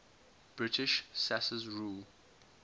british sas's rule